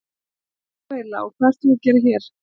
Hver ert þú eiginlega og hvað ert þú að gera hér?